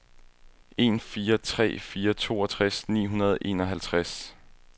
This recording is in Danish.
en fire tre fire toogtres ni hundrede og enoghalvtreds